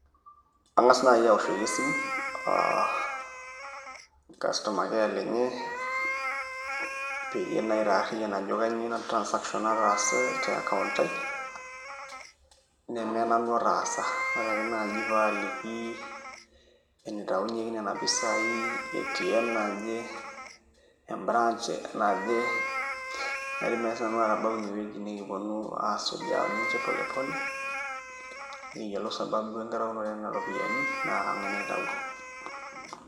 Ang'as naai aoshoki esimu aa customer care lenye peyie aitaarriyian ajoki kainyioo ina transaction nataase te account ai neme nanu otaasa ore ake naaji pee aaliki enitaunyieki nena pisaai ATM naje e branch naidim naai sinanu atabau inewueji nikiponu aasuj oninche pole pole nikiyiolou sababu enkitaunoto enena ropiyiani naa kang'ae naitauo.